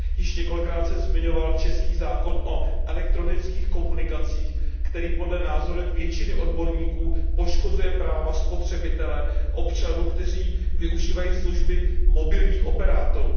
Již několikrát jsem zmiňoval český zákon o elektronických komunikacích, který podle názoru většiny odborníků poškozuje práva spotřebitelů, občanů, kteří využívají služby mobilních operátorů.